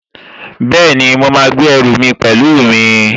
Bẹ́ẹ̀ni, mo máa gbé ẹrù mi pẹ̀lú mi